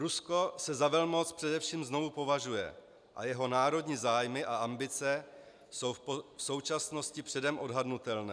Rusko se za velmoc především znovu považuje a jeho národní zájmy a ambice jsou v současnosti předem odhadnutelné.